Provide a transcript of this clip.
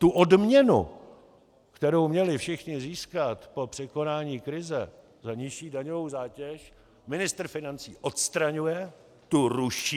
Tu odměnu, kterou měli všichni získat po překonání krize za nižší daňovou zátěž, ministr financí odstraňuje, tu ruší.